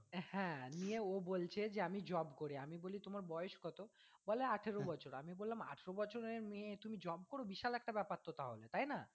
হ্যাঁ। নিয়ে ও বলছে যে আমি job করি আমি বলি তোমার বয়েস কত? বলে আঠেরো বছর। আমি বললাম আঠেরো বছরের মেয়ে তুমি job করো বিশাল একটা ব্যাপার তো তাহলে তাই না।